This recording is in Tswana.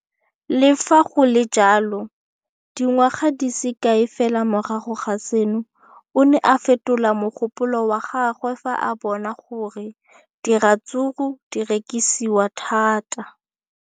Le fa go le jalo, dingwaga di se kae fela morago ga seno, o ne a fetola mogopolo wa gagwe fa a bona gore diratsuru di rekisiwa thata.